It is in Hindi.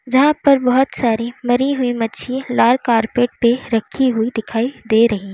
जहां पर बहोत सारी मरी हुई मच्छी लाल कारपेट पे रखी हुई दिखाई दे रही--